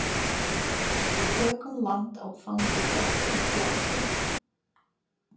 Við tökum land á þangi þöktum kletti.